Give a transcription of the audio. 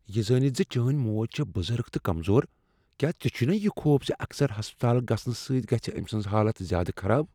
یہ زٲنِتھ زِ چٲنۍ موج چھےٚ بزرگ تہٕ کمزور، کیا ژےٚ چھُےنا یہ خوف زِ اکثر ہسپتال گژھنہٕ سۭتۍ گژھہِ أمۍ سٕنٛز حالت زیادٕ خراب؟